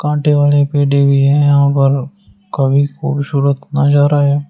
यहां पर काफी खूबसूरत नजारा है।